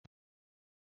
Anyị ga-aga n'ubi m echi.